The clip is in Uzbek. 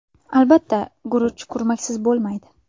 Albatta, guruch kurmaksiz bo‘lmaydi.